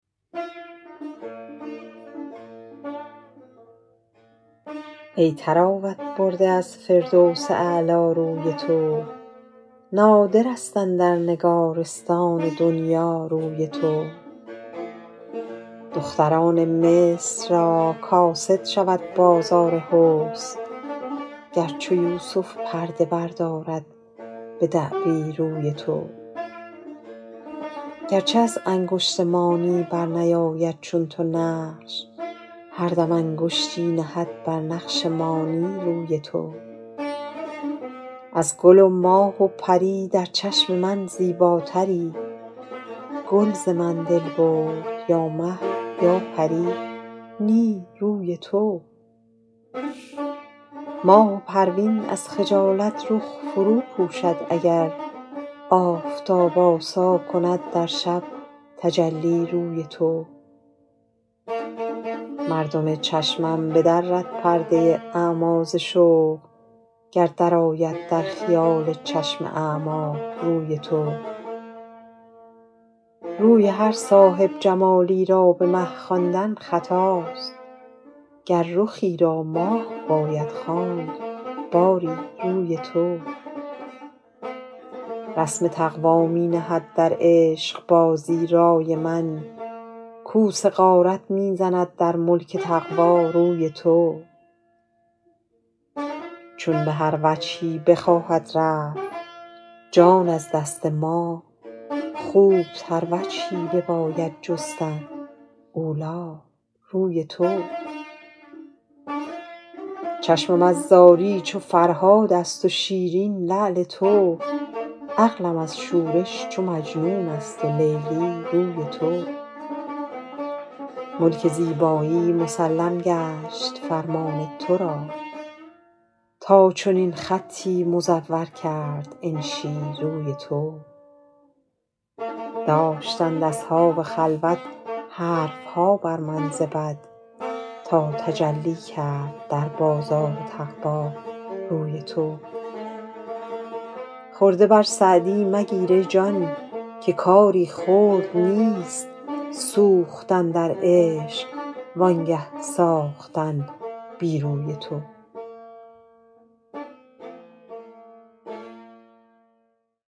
ای طراوت برده از فردوس اعلی روی تو نادر است اندر نگارستان دنیی روی تو دختران مصر را کاسد شود بازار حسن گر چو یوسف پرده بردارد به دعوی روی تو گر چه از انگشت مانی بر نیاید چون تو نقش هر دم انگشتی نهد بر نقش مانی روی تو از گل و ماه و پری در چشم من زیباتری گل ز من دل برد یا مه یا پری نی روی تو ماه و پروین از خجالت رخ فرو پوشد اگر آفتاب آسا کند در شب تجلی روی تو مردم چشمش بدرد پرده اعمی ز شوق گر درآید در خیال چشم اعمی روی تو روی هر صاحب جمالی را به مه خواندن خطاست گر رخی را ماه باید خواند باری روی تو رسم تقوی می نهد در عشق بازی رای من کوس غارت می زند در ملک تقوی روی تو چون به هر وجهی بخواهد رفت جان از دست ما خوب تر وجهی بباید جستن اولی روی تو چشمم از زاری چو فرهاد است و شیرین لعل تو عقلم از شورش چو مجنون است و لیلی روی تو ملک زیبایی مسلم گشت فرمان تو را تا چنین خطی مزور کرد انشی روی تو داشتند اصحاب خلوت حرف ها بر من ز بد تا تجلی کرد در بازار تقوی روی تو خرده بر سعدی مگیر ای جان که کاری خرد نیست سوختن در عشق وانگه ساختن بی روی تو